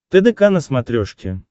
тдк на смотрешке